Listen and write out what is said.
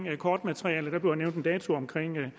kortmaterialet der bliver nævnt en dato omkring den